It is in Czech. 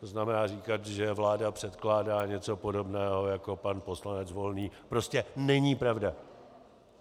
To znamená říkat, že vláda předkládá něco podobného jako pan poslanec Volný, prostě není pravda.